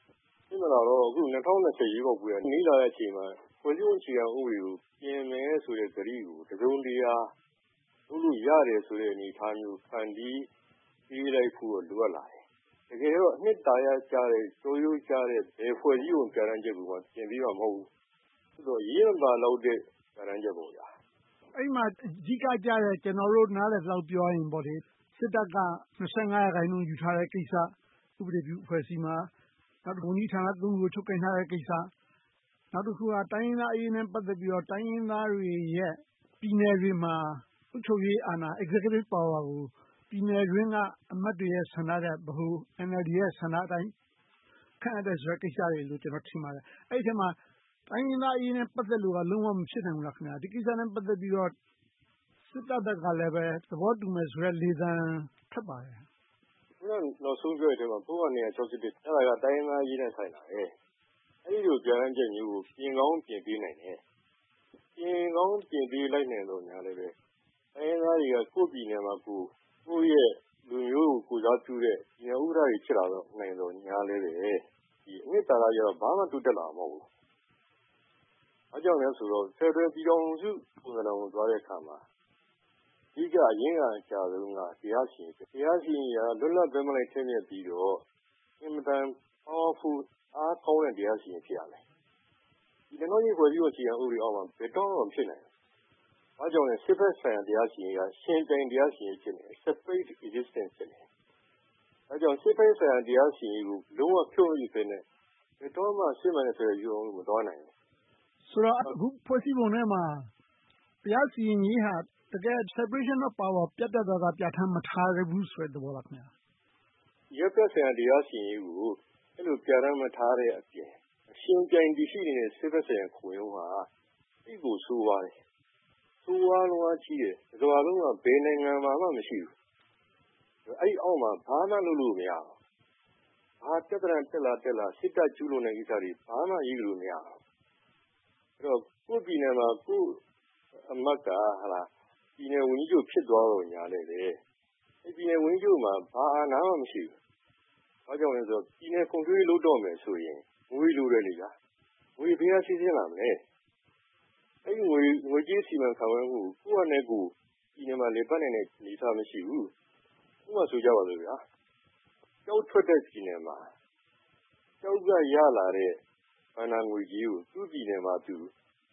။ ဖြစ်မလာတော့ ၂၀၂၀ ရွေးကောက်ပွဲ နီးလာတဲ့အချိန်မှာ ဖွဲ့စည်းပုံအခြေခံဥပဒေကို ပြင်မယ်ဆိုတဲ့ ကတိကို တစုံတရာ လုပ်လို့ရတယ်ဆိုတဲ့ အနေအထားမျိုး ဖန်တီးပေးလိုက်ဖို့တော့ လိုအပ်လာတယ်။ တကယ်တော့ အနှစ်သာရကျတဲ့ ကျောရိုးကျတဲ့ ဘယ်ဖွဲ့စည်းပုံ ပြဌာန်းချက်ကိုမှ ပြင်ပေးမှာ မဟုတ်ဘူး။ အရေးမပါလောက်တဲ့ ပြဌာန်းချက်ပေါ့။ အဲဒီမှာ အဓိကကျတဲ့ ကျနော်တို့ နားလည်သလောက်ပြောရရင်တော့ စစ်တပ်က ရာခိုင်နှုန်း ယူထားတဲ့ကိစ္စ ဥပဒေပြု အဖွဲ့အစည်းမှာ။ နောက် ဝန်ကြီးဌာန ခုကို ချုပ်ကိုင်ထားတဲ့ကိစ္စ။ နောက်တခုက တိုင်းရင်းသားအရေးနဲ့ ပတ်သက်လို့ တိုင်းရင်းသားတွေရဲ့ ပြည်နယ်တွေမှာ အုပ်ချုပ်ရေးအာဏာ ကို ပြည်နယ်တွင်းက အမတ်တွေရဲ့ဆန္ဒထက် ဗဟို NLD ရဲ့ ဆန္ဒအတိုင်း ခန့်အပ်တယ်လို့ ထင်ပါတယ်။ အဲဒီအထဲမှာ တိုင်းရင်းသားအရေးနဲ့ ပတ်သက်လို့ လုံးဝမဖြစ်နိုင်ဘူးလား။ ဒီကိစ္စနဲ့ ပတ်သက်ပြီးတော့ စစ်တပ်ဘက်ကလည်း သဘောတူမယ်ဆိုတဲ့လေသံ ထွက်ပါတယ်။ နောက်ဆုံးပြောတဲ့ထဲမှာ ပုဒ်မ အဲဒါက တိုင်းရင်းသားအရေးနဲ့ ဆိုင်လာတယ်။ အဲဒီလို ပြဌာန်းချက်မျိုးကို ပြင်ကောင်းပြင်နိုင်တယ်။ ပြင်ကောင်းပြင်နိုင်တယ်သော်ငြားလဲ တိုင်းရင်းသားတွေက ကိုယ့်ပြည်နယ်မှာကိုယ် ကိုယ့်ရဲ့လူမျိုးကို ကိုယ်စားပြုတဲ့ ပြည်နယ်ဥက္ကဋ္ဌတွေ ဖြစ်လာနိုင်သော်ငြားလဲ အနှစ်သာရအားဖြင့်တော့ ဘာမှတိုးတက်လာမှာ မဟုတ်ဘူး။ ဘာကြောင့်လဲဆိုတော့ ဖယ်ဒရယ်ပြည်ထောင်စုပုံစံကို သွားတယ်အခါမှာ အဓိက အရင်ခံအကျဆုံးက တရားစီရင်ရေး ဖြစ်တယ်။ တရားစီရင်ရေးက လွတ်လပ်ဘက်မလိုက် ထက်မြက်ပြီးတော့ အင်မတန် Powerful အားကောင်းတဲ့ တရားစီရင်ရေး ဖြစ်ရမယ်။ ဒီ ၂၀၀၈ ဖွဲ့စည်းပုံဥပဒေအောက်မှာ ဘယ်တော့မှ မဖြစ်နိုင်ဘူး။ ဘာကြောင့်လဲဆိုတော့ စစ်ဘက်ဆိုင်ရာ တရားစီရင်ရေးက ယှဉ်ပြိုင်တရားစီရင်ရေး ဖြစ်နေတယ်။ ဒါကြောင့် စစ်ဘက်ဆိုင်ရာ တရားစီရင်ရေးကို လုံးဝမဖြုတ်နိုင်ဘဲနဲ့ ဘယ်တော့မှ စစ်မှန်တဲ့ ဖယ်ဒရယ်ပြည်ထောင်စု မသွားနိုင်ဘူး။ ဆိုတော့ အခုဖွဲ့စည်းပုံထဲမှာ တရားစီရင်ရေးဟာ တကယ့်ကို separation of powers ကို ပြတ်ပြတ်သားသား ပြဌာန်းမထားဘူးဆိုတဲ့ သဘောလား။ အရပ်ဘက်ဆိုင်ရာ တရားစီရင်ရေးကို အဲဒီလို ပြဌာန်းမထားတဲ့အပြင် ယှဉ်ပြိုင်ရှိနေတဲ့ စစ်ဘက်ဆိုင်ရာခုံရုံးမှာ သိပ်ကိုဆိုးဝါးတယ်။ ဆိုးဝါးလွန်အားကြီးတယ်။ တကမ္ဘာလုံးမှာ ဘယ်တုန်းက၊ ဘယ်နိုင်ငံမှာမှ မရှိဘူး။ အဲဒီအောက်မှာ ဘာမှလုပ်လို့ မရဘူး။ ဘာပြဿနာတက်လာလာ စစ်တပ်ကျူးလွန်တဲ့ကိစ္စတွေကို ဘာမှအရေးယူလို့ မရဘူး။ အဲဒီတော့ ကိုယ့်ပြည်နယ်မှာ ကိုယ့်အမတ်က ပြည်နယ်ဝန်ကြီးချုပ် ဖြစ်သွားသော်ငြားလဲ အဲဒီပြည်နယ်ဝန်ကြီးချုပ်မှာ ဘာ အာဏာမှ မရှိဘူး။ ဘာကြောင့်လဲဆိုတော့ ပြည်နယ်ဖွံ့ဖြိုးရေး လုပ်တော့မယ်ဆိုရင် ငွေလိုတယ်။ ငွေဘယ်က စီးဆင်းလာမလဲ။ အဲဒီငွေကြေးစီမံခန့်ခွဲမှုကို ကိုယ့်ဟာနဲ့ကိုယ် ပြည်နယ်မှာ လည်ပတ်နိုင်တဲ့ အနေအထားမရှိဘူး။ ဥပမာဆိုကြပါစို့ ကျောက်ထွက်တဲ့ပြည်နယ်မှာ ကျောက်ကရလာတဲ့ ဘဏ္ဍာငွေကြေးကို သူ့ပြည်နယ်မှာ သူ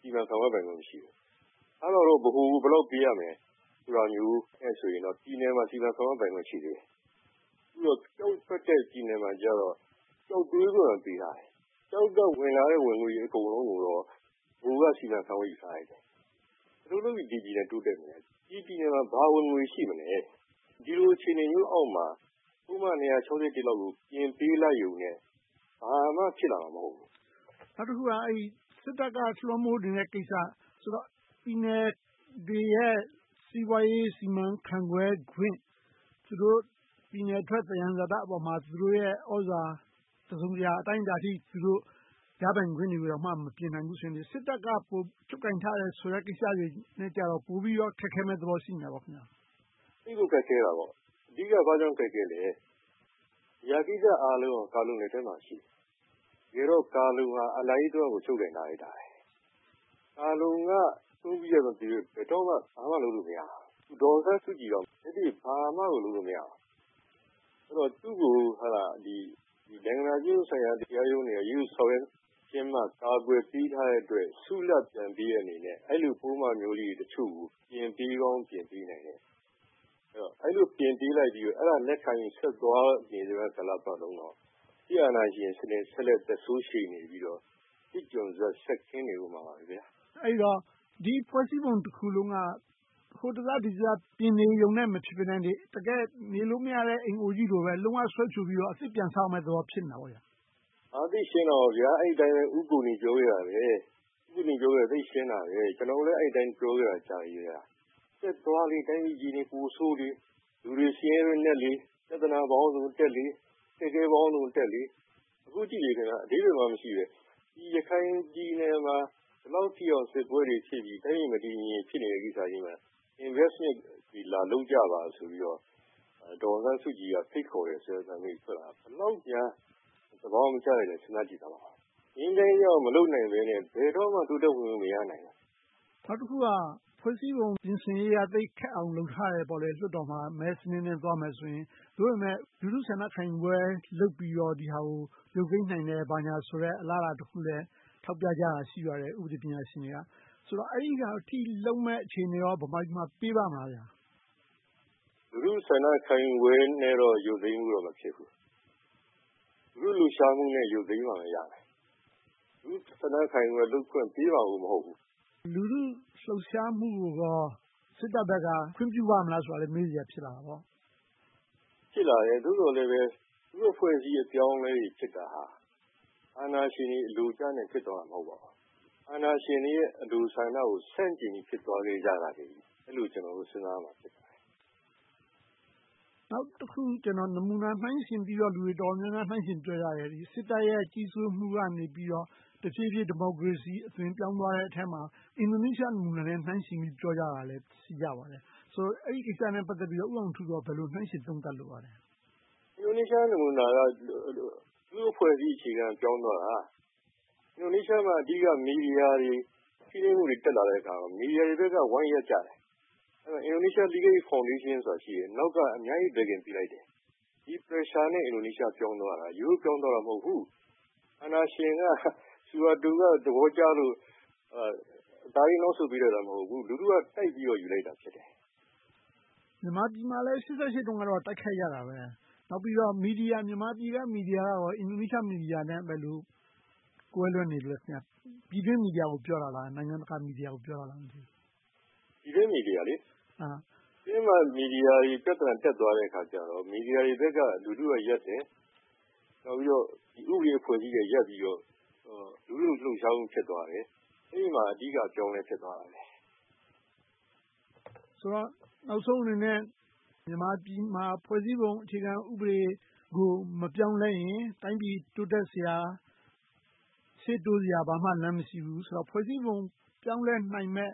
စီမံခန့်ခွဲပိုင်ခွင့် မရှိဘူး။ ဗဟိုကို ဘယ်လောက်ပေးရမယ်ဆိုတာမျိုးနဲ့ ပြည်နယ်မှာ စီမံခန့်ခွဲပိုင်ခွင့် ရှိသေးတယ်။ အခုတော့ ကျောက်ထွက်တဲ့ပြည်နယ်မှာကြတော့ ကျောက်သွေးခွင့်ပဲ ပေးထားတယ်။ ကျောက်ကဝင်လာတဲ့ ဝင်ငွေတွေအကုန်လုံးကို ဗဟိုကစီမံခန့်ခွဲ ယူထားလိုက်တယ်။ ဘယ်လိုလို့လုပ်ပြီး ဒီပြည်နယ်တိုးတက်မလဲ။ ဒီပြည်နယ်မှာ ဘာဝင်ငွေ ရှိမလဲ။ ဒီလိုအခြေအနေမျိုးအောက်မှာ ပုဒ်မ လောက်ကို ပြင်ပေးလိုက်ရုံနဲ့ ဘာမှ ဖြစ်လာမှာ မဟုတ်ဘူး။ နောက်တခုက စစ်တပ်က လွှမ်းမိုးနေတဲ့ကိစ္စ။ ဆိုတော့ ပြည်နယ်တွေရဲ့ စီးပွားရေးစီမံခန့်ခွဲခွင့် သူတို့ပြည်နယ်ထွက် သယံဇာတပေါ်မှာ သူတို့ရဲ့သြဇာ တစုံတရာအတိုင်းအတာအထိ သူတို့ရပိုင်ခွင့်တွေကို မပြင်နိုင်ဘူးဆိုရင် စစ်တပ်က ပိုချုပ်ကိုင်ထားတယ်ဆိုတဲ့ကိစ္စတွေနဲ့ဆို ပိုပြီးခက်ခဲမယ့်သဘော ရှိနေတာပေါ့။ သိပ်ကိုခက်ခဲတာပေါ့။ အဓိက ဘာကြောင့်ခက်ခဲလဲ။ ဒီအရာကိစ္စတွေအားလုံး ကာလုံလက်ထဲမှာ ရှိတယ်။ တကယ်တော့ ကာလုံဟာ အာဏာရေးတဝက်ကို ချုပ်ကိုင်ထားလိုက်တာ။ ကာလုံက ဆုံးဖြတ်ချက်မပေးဘဲ ဘာမှလုပ်လို့မရဘူး။ ဒေါ်အောင်ဆန်းစုကြည်တောင် လက်တွေ့ဘာမှလုပ်လို့ မရဘူး။ သူကို နိုင်ငံတော်ကျင့်ဝတ်တရားရုံးတွေက… ကာကွယ်ပေးထားတဲ့အတွက် ဆုလာဘ်ပြန်ပေးတဲ့သဘောမျိုးနဲ့ အဲဒီလိုပုဒ်မမျိုးလေးတွေကို ပြင်ပေးကောင်း ပြင်ပေးနိုင်တယ်။ အဲဒီလိုပြင်ပေးလိုက်ပြီးတော့ အဲဒါကို လက်ခံရင်ဆက်သွားနေသမျှပတ်လုံးတော့ စစ်အာဏာရှင်စနစ် ဆက်လက်သက်ဆိုးရှည်နေပြီးတော့ စစ်ကျွန်းစက် ဆက်ခင်းနေအုံးမှာပါ။ အဲဒီတော့ ဒီဖွဲ့စည်းပုံတခုလုံးက ဟိုတစဒီတစ ပြင်နေရုံနဲ့ မဖြစ်ဘဲနဲ့ တကယ့် နေလို့မရတဲ့ အိမ်အိုကြီးလိုပဲ လုံးဝဖြိုချပြီးတော့ အသစ်ပြန်ဆောက်ရမယ့်သဘော ဖြစ်နေတာပေါ့။ သိပ်ရှင်းတာပေါ့။ အဲဒီအတိုင်းပဲ ဦးကိုနီ ပြောခဲ့တယ်။ ဦးကိုနီပြောခဲ့တာ သိပ်ရှင်းတယ်။ ကျနော်တို့လည်း အဲဒီအတိုင်း ပြောခဲ့တာ ကြာပါပြီ။ ဆက်သွားလေ တိုင်းပြည်အခြေအနေ ပိုဆိုးလေ။ လူတွေ ဆင်းရဲတွင်းနက်လေ။ ပြဿနာပေါင်းစုံတက်လေ။ အခက်အခဲပေါင်းစုံတက်လေ။ အခုကြည့်လေ အဓိပ္ပါယ်မှ မရှိဘဲ… ရခိုင်ပြည်နယ်မှာ ဒီလောက်ထိ စစ်ပွဲတွေဖြစ်ပြီး တိုင်းပြည်မတည်မငြိမ် ဖြစ်နေတဲ့ကိစ္စကြီးမှာ Investment တွေ လာလုပ်ကြပါဆိုပြီးတော့ ဒေါ်အောင်ဆန်းစုကြည်က ဖိတ်ခေါ်တယ်ဆိုတဲ့အသံတွေ ထွက်လာတာ ဘယ်လောက်များ သဘာဝမကျလိုက်တာကို စဉ်းစားကြည့်လိုက်ပါအုံး။ ငြိမ်းချမ်းရေးရအောင် မလုပ်နိုင်ဘဲနဲ့ ဘယ်တော့မှ တိုးတက်ခွင့်မရနိုင်ဘူး။ နောက်တခုက ဖွဲ့စည်းပုံပြင်ဆင်ရေးက သိပ်ခက်အောင်လုပ်ထားတယ်။ လွှတ်တော်မှာ မဲစနစ်နဲ့သွားမယ်ဆိုရင် သို့ပေမဲ့ လူထုဆန္ဒခံယူပွဲ လုပ်ပြီးတော့ ဒီဟာကို ရုတ်သိမ်းနိုင်မယ် ဘာညာဆိုတဲ့ အလားအလာတခုလည်း ထောက်ပြကြတာ ရှိပါတယ်။ ဥပဒေပညာရှင်တွေက ဆိုတော့ အဲဒီလောက်အထိ လုပ်မယ့်အခြေအနေကော ဗမာပြည်မှာ ပေးပါ့မလား။ လူထုဆန္ဒခံယူပွဲလောက်နဲ့တော့ ရုတ်သိမ်းဖို့ မဖြစ်ဘူး။ လူထုလှုပ်ရှားမှုနဲ့ ရုတ်သိမ်းမှရတယ်။ လူထုဆန္ဒခံယူပွဲ လုပ်ခွင့်ကိုပေးမှာ မဟုတ်ဘူး။ လူထုလှုပ်ရှားမှုကိုကော စစ်တပ်ဘက်က ခွင့်ပြုပါ့မလားဆိုတာ မေးစရာရှိလာတယ်။ ဖြစ်လာတယ်။ သို့သော်လဲပဲ လူ့အဖွဲ့အစည်း အပြောင်းအလဲတွေဖြစ်တာ အာဏာရှင်တွေ အလိုကျနဲ့ ဖြစ်သွားတာ မဟုတ်ဘူး။ အာဏာရှင်တွေရဲ့ အလိုဆန္ဒကို ဆန့်ကျင်ပြီး ဖြစ်သွားကြတာလို့ အဲဒီလို ကျနော်တို့ စဉ်းစားကြရမှာ ဖြစ်ပါတယ်။ နောက်တခု နမူနာနှိုင်းယှဉ်ပြီး လူတွေတော်တော်များများ နှိုင်းယှဉ်ပြောကြတယ် စစ်တပ်ရဲ့ ကြီးစိုးမှုကနေ တဖြည်းဖြည်း ဒီမိုကရေစီအသွင် ပြောင်းသွားတဲ့အထဲမှာ အင်ဒိုနီးရှားနဲ့ နှိုင်းယှဉ်ပြီး ပြောကြတာလည်း ရှိကြပါတယ်။ အဲဒီကိစ္စနဲ့ ပတ်သက်ပြီးတော့ ဦးအောင်ထူး ဘယ်လိုနှိုင်းယှဉ်သုံးသပ်လိုပါလဲ။ အင်ဒိုနီးရှားနမူနာက လူ့အဖွဲ့အစည်း အခြေခံပြောင်းသွားတာ။ အင်ဒိုနီးရှားမှာ အဓိက မီဒီယာတွေ ဖိနှိပ်မှုတွေ တက်လာတဲ့အခါမှာ မီဒီယာတွေဘက်က ဝိုင်းရပ်ကြတယ်။ အင်ဒိုနီးရှား Legal Aid Foundation ဆိုတာ ရှိတယ်။ နောက်က အများကြီး Backing ပေးလိုက်တယ်။ ဒီ Pressure နဲ့ အင်ဒိုနီးရှား ပြောင်းသွားတာ။ ရိုးရိုးပြောင်းသွားတာ မဟုတ်ဘူး။ အာဏာရှင်က ဆူဟာတိုက သဘောကျလို့ အသားလေးနောက်ဆုတ်ပေးလိုက်တာ မဟုတ်ဘူး။ လူထုက တိုက်ပြီးတော့ ယူလိုက်တာ ဖြစ်တယ်။ မြန်မာပြည်မှာလည်း ၈၈ တုန်းက တိုက်ခိုက်ခဲ့ကြတာပဲ။ နောက်ပြီးတော့ မြန်မာပြည်က မီဒီယာက အင်ဒိုနီးရှားမီဒီယာနဲ့ ဘယ်လိုကွဲလွဲနေလို့လဲ။ ပြည်တွင်းမီဒီယာကို ပြောတာလား။ နိုင်ငံတကာ မီဒီယာကို ပြောတာလား။ ပြည်တွင်းမီဒီယာ - ပြည်တွင်းမှာ မီဒီယာတွေ ပြဿနာတက်သွားတဲ့အခါကြတော့ မီဒီယာတွေဘက်က လူထုကရပ်တယ်။ နောက်ပြီးတော့ ဥပဒေအဖွဲ့အစည်းတွေက ရပ်ပြီးတော့ လူထုလှုပ်ရှားမှု ဖြစ်သွားတယ်။ အဲဒီမှာ အဓိက အပြောင်းအလဲ ဖြစ်သွားတာပဲ။ ဆိုတော့ နောက်ဆုံးအနေနဲ့ မြန်မာပြည်မှာ ဖွဲ့စည်းပုံအခြေခံဥပဒေကို မပြောင်းလဲရင် တိုင်းပြည်တိုးတက်စရာ၊ ရှေ့တိုးစရာ ဘာမှလမ်းမရှိဘူးဆိုတော့ ဖွဲ့စည်းပုံ ပြောင်းလဲနိုင်မယ့်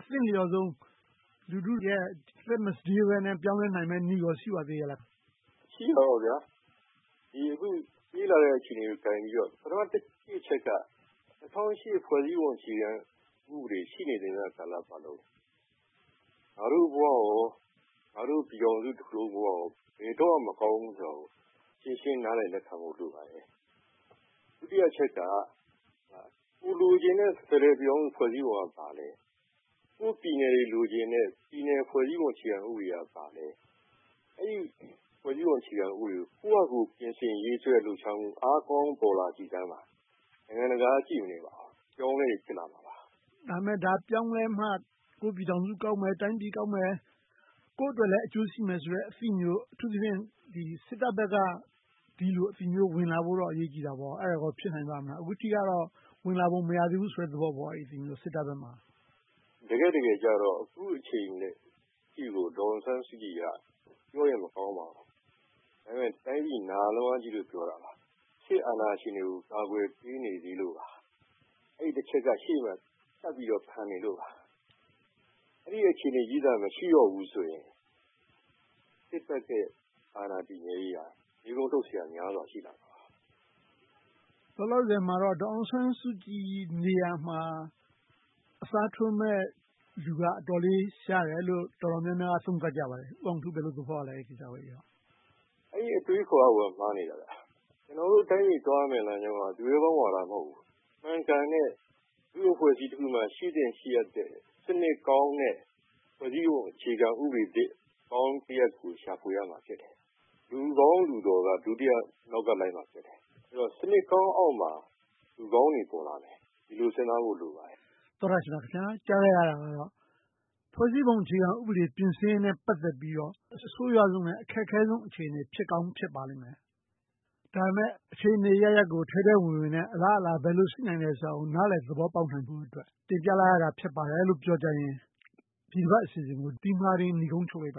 အသင့်လျော်ဆုံး လူထုတွေ အသက်မစတေးဘဲ ပြောင်းလဲနိုင်မယ့်နည်းကော ရှိပါသေးလား။ ရှိတာပေါ့ - အခု ဖြစ်လာတဲ့အခြေအနေကို ကိုင်ပြီးတော့ ပထမတချက်က ၂၀၀၈ ဖွဲ့စည်းပုံအခြေခံဥပဒေ ရှိနေသမျှကာလပတ်လုံး ငါ့တို့ဘဝ၊ ငါ့တို့ပြည်ထောင်စုတခုလုံးဘဝ ဘယ်တော့မှ မကောင်းဘူးဆိုတာကို ရှင်းရှင်းနားလည်လက်ခံဖို့ လိုပါတယ်။ ဒုတိယအချက်က ကိုယ်လိုချင်တဲ့ ဖယ်ဒရယ်ပြည်ထောင်စု ဖွဲ့စည်းပုံက ဘာလဲ။ ကိုယ့်ပြည်နယ်တွေ လိုချင်တဲ့ ပြည်နယ်ဖွဲ့စည်းပုံ အခြေခံဥပဒေက ဘာလဲ။ အဲဒီဖွဲ့စည်းပုံ အခြေခံဥပဒေကို ကိုယ့်ဟာကိုယ် ပြင်ဆင်ရေးဆွဲလှုပ်ရှားမှု အားကောင်းပေါ်လာကြည့်စမ်းပါ နိုင်ငံတကာက ကြည့်မနေပါဘူး။ အပြောင်းအလဲတွေ ဖြစ်လာမှာပါ။ ဒါပေမဲ့ ဒါပြောင်းလဲမှ ကိုယ့်ပြည်ထောင်စုကောင်းမယ်။ တိုင်းပြည်ကောင်းမယ်။ ကိုယ့်အတွက်လည်း အကျိုးရှိမယ်ဆိုတဲ့ အသိမျိုး အထူးသဖြင့် စစ်တပ်ဘက်က ဒီလိုအသိမျိုး ဝင်လာဖို့တော့ အရေးကြီးတာပေါ့။ အဲဒါကော ဖြစ်နိုင်ပါ့မလား။ အခုကြည့်ရတာတော့ ဝင်လာပုံ မရသေးဘူးဆိုတဲ့ သဘောပေါ့။ အဲဒီအသိမျိုး စစ်တပ်ဘက်မှာ။ တကယ့်တကယ်ကြတော့ အခုအခြေအနေနဲ့ ဒေါ်အောင်ဆန်းစုကြည်က ပြောရင်မကောင်းပါဘူး ဒါပေမဲ့ တိုင်းပြည်နာလွန်အားကြီးလို့ ပြောတာပါ။ စစ်အာဏာရှင်တွေကို ကာကွယ်ပေးနေသေးလို့ပါ။ အဲဒီတချက်က ရှေ့မှာဆက်ပြီးတော့ ခံနေသေးလို့ပါ။ အဲဒီအခြေအနေကြီးသာ မရှိတော့ဘူးဆိုရင် စစ်တပ်ရဲ့ အာဏာတည်မြဲရေးဟာ မေးခွန်းထုတ်စရာများစွာ ရှိလာမှာပါ။ လောလောဆယ်မှာတော့ ဒေါ်အောင်ဆန်းစုကြည်နေရာမှာ အစားထိုးမယ့်လူက အတော်လေး ရှားတယ်လို့ တော်တော်များများက သုံးသပ်ကြပါတယ်။ ဦးအောင်ထူး ဘယ်လိုသဘောရလဲ။ အဲဒီအတွေးအခေါ်ကိုက မှားနေတာ။ ကျနော်တို့တိုင်းပြည် သွားရမယ့်လမ်းကြောင်းက သူရဲကောင်းဝါဒ မဟုတ်ဘူး။ မှန်ကန်တဲ့ လူ့အဖွဲ့အစည်းတခုမှာ ရှိသင့်ရှိအပ်တဲ့ စနစ်ကောင်းနဲ့ ဖွဲ့စည်းပုံအခြေခံဥပဒေသစ်ကောင်းတရပ်ကို ရှာဖွေရမှာ ဖြစ်တယ်။ လူကောင်းလူတော်က ဒုတိယ နောက်ကလိုက်ရမှာဖြစ်တယ်။ အဲဒီတော့ စနစ်ကောင်းအောက်မှာ လူကောင်းတွေ ပေါ်လာမယ်။ ဒီလိုစဉ်းစားဖို့ လိုပါတယ်။ နိဂုံးချုပ်မှတ်ချက် ။ ။ သောတရှင်များခင်များ… ကြားခဲ့ရတာကတော့ ဖွဲ့စည်းပုံအခြေခံဥပဒေ ပြင်ဆင်ရေးနဲ့ ပတ်သက်ပြီးတော့ အဆိုးဝါးဆုံးနဲ့ အခက်ခဲဆုံး အခြေအနေ ဖြစ်ကောင်းဖြစ်ပါလိမ့်မယ်။ ဒါပေမဲ့ အခြေအနေအရပ်ရပ်ကို ထဲထဲဝင်ဝင်နဲ့ အလားအလာ ဘယ်လိုရှိနိုင်မလဲဆိုတာကို နားလည်သဘောပေါက်နိုင်ဖို့အတွက် တင်ပြလိုက်ရတာ ဖြစ်ပါတယ်လို့ ပြောကြားရင် ဒီတပတ်အစီအစဉ်ကို ဒီမှာတင် နိဂုံးချုပ်လိုက်ပ